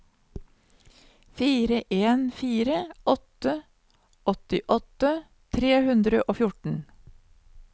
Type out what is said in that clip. fire en fire åtte åttiåtte tre hundre og fjorten